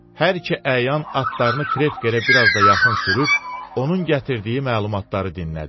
Hər iki əyan atlarını krepyə biraz da yaxın sürüb, onun gətirdiyi məlumatları dinlədi.